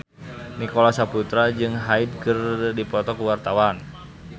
Nicholas Saputra jeung Hyde keur dipoto ku wartawan